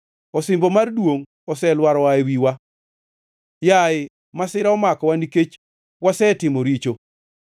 Osimbo mar duongʼ oselwar oa e wiwa. Yaye, masira omakowa, nikech wasetimo richo.